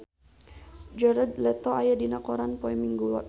Jared Leto aya dina koran poe Minggon